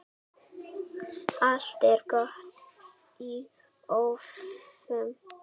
Allt er gott í hófi.